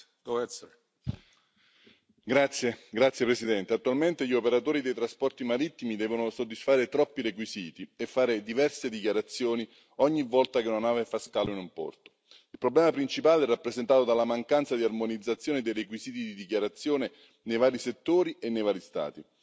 Signor Presidente, onorevoli colleghi, attualmente gli operatori dei trasporti marittimi devono soddisfare troppi requisiti e fare diverse dichiarazioni ogni volta che una nave fa scalo in un porto. Il problema principale è rappresentato dalla mancanza di armonizzazione dei requisiti di dichiarazione nei vari settori e nei vari Stati